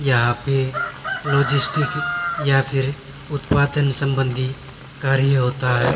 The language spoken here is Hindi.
यहां पे लॉजिस्टिक की या फिर उत्पादन संबंधी कार्य होता है।